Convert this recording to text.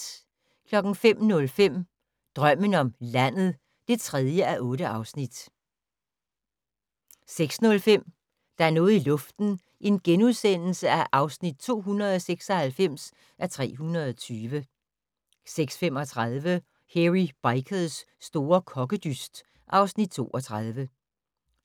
05:05: Drømmen om landet (3:8) 06:05: Der er noget i luften (296:320)* 06:35: Hairy Bikers' store kokkedyst (Afs. 32)